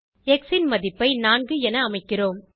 X ன் மதிப்பை 4 என அமைக்கிறோம்